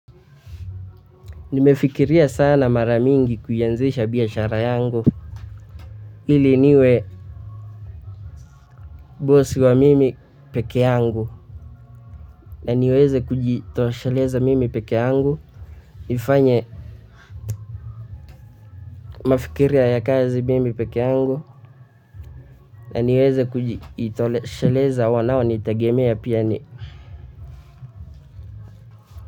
Nimefikiria sana mara mingi kuianzisha biashara yangu, ili niwe bosi wa mimi peke yangu, na niweze kujitoshaleza mimi peke yangu, nifanye mafikiria ya kazi mimi peke yangu, na niweze kujitosheleza wanao nitegemea pia ni.